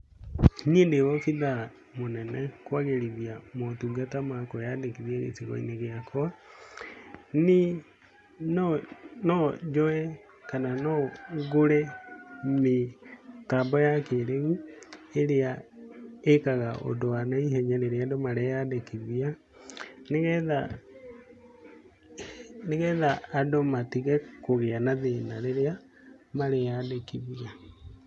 Niĩ ndĩ obithaa mũnene kwagĩrithia motungata ma kũĩandĩkithia gĩcigo-inĩ gĩakwa, niĩ no njoye kana no ngũre mĩtambo ya kĩrĩu ĩrĩa ĩkaga ũndũ wa naihenya rĩrĩa andũ mareandĩkithia nĩgetha andũ matige kũgĩa na thĩna rĩrĩa mareandĩkithia.